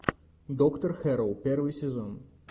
доктор хэрроу первый сезон